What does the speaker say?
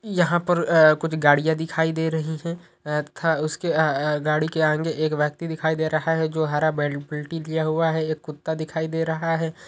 यहां पर आए कुछ गाड़ियां दिखाई दे रही हैं आए था उसके आए गाड़ी के आगे एक व्यक्ति दिखाई दे रहा है जो हरा बेल-बाल्टी लिया हुआ है एक कुत्ता दिखाई दे रहा है।